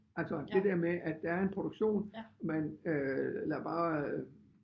Altså det der med at der er en produktion man øh lader bare